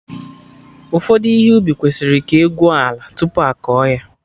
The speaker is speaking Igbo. Ụfọdụ ihe ubi kwesịrị ka egwuo ala tupu akọ ya